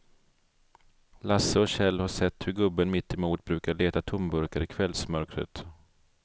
Lasse och Kjell har sett hur gubben mittemot brukar leta tomburkar i kvällsmörkret.